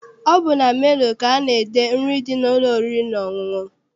Ọ bụ na menu ka ana-ede nri dị n'ụlọ oriri na ọṅụṅụ.